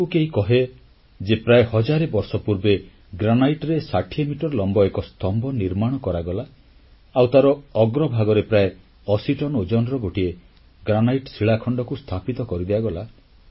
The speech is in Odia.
ଯଦି ଆପଣଙ୍କୁ କେହି କହେ ଯେ ପ୍ରାୟ ହଜାରେ ବର୍ଷ ପୂର୍ବେ ଗ୍ରାନାଇଟ ବା କଳାମୁଗୁନୀ ପଥରରେ 60 ମିଟର ଲମ୍ବ ଏକ ସ୍ତମ୍ଭ ନିର୍ମାଣ କରାଗଲା ଆଉ ତାର ଅଗ୍ରଭାଗରେ ପ୍ରାୟ 80 ଟନ୍ ଓଜନର ଗୋଟିଏ ଗ୍ରାନାଇଟ୍ ଶିଳାଖଣ୍ଡକୁ ସ୍ଥାପିତ କରିଦିଆଗଲା